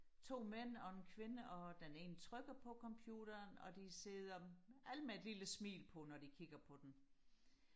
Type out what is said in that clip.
to mænd og en kvinde og den ene trykker på computeren og de sidder alle med et lille smil på når de kigger på den